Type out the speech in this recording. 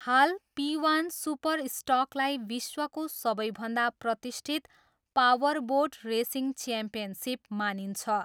हाल, P one सुपरस्टकलाई विश्वको सबैभन्दा प्रतिष्ठित पावरबोट रेसिङ च्याम्पियनसिप मानिन्छ।